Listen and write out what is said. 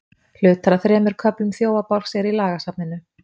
Hlutar af þremur köflum Þjófabálks eru í lagasafninu.